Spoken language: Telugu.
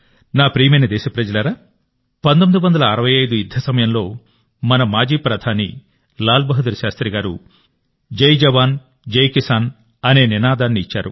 నా ప్రియమైన దేశప్రజలారా 1965 యుద్ధ సమయంలో మన మాజీ ప్రధాని లాల్ బహదూర్ శాస్త్రి గారు జై జవాన్ జై కిసాన్ అనే నినాదాన్ని ఇచ్చారు